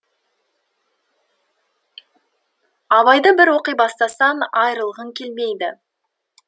абайды бір оқи бастасаң айырылғың келмейді